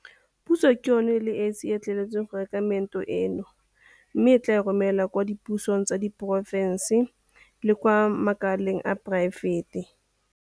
Puso ke yona e le esi e e letleletsweng go reka meento eno mme e tla e romela kwa dipusong tsa diporofense le kwa makaleng a poraefete.